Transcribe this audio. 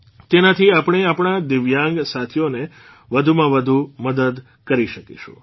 તેનાથી આપણે આપણા દિવ્યાંગ સાથીઓની વધુમાં વધુ મદદ કરી શકીશું